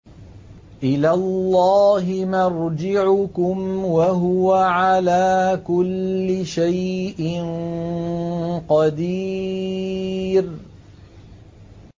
إِلَى اللَّهِ مَرْجِعُكُمْ ۖ وَهُوَ عَلَىٰ كُلِّ شَيْءٍ قَدِيرٌ